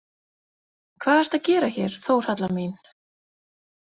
Hvað ertu að gera hér, Þórhalla mín?